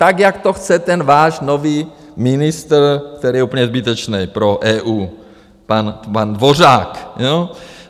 Tak jak to chce ten váš nový ministr, který je úplně zbytečný, pro EU, pan Dvořák.